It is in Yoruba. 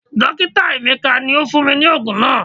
Dokita emeka ni o fun mi ni oogun naa